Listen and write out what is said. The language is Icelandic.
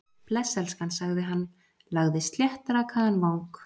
Bless, elskan- sagði hann, lagði sléttrakaðan vang